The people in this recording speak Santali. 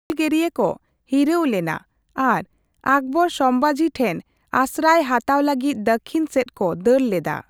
ᱦᱩᱞᱜᱟᱹᱨᱤᱭᱟᱹ ᱠᱚ ᱦᱤᱨᱟᱣᱞᱮᱱᱟ ᱟᱨ ᱟᱠᱵᱚᱨ ᱥᱚᱢᱵᱷᱟᱡᱤ ᱴᱷᱮᱱ ᱟᱥᱨᱟᱭ ᱦᱟᱛᱟᱣ ᱞᱟᱹᱜᱤᱛ ᱫᱟᱠᱠᱷᱤᱱ ᱥᱮᱪ ᱠᱚ ᱫᱟᱹᱲ ᱞᱮᱫᱟ ᱾